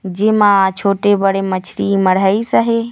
जे मा छोटे-बड़े मछली मढ़ही सहे--